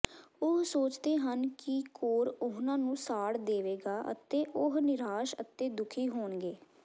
ਉਹ ਸੋਚਦੇ ਹਨ ਕਿ ਕੋਰ ਉਨ੍ਹਾਂ ਨੂੰ ਸਾੜ ਦੇਵੇਗਾ ਅਤੇ ਉਹ ਨਿਰਾਸ਼ ਅਤੇ ਦੁਖੀ ਹੋਣਗੇ